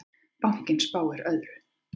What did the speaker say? Bankinn spáir öðru.